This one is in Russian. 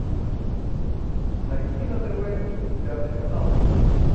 найди на тв пятый канал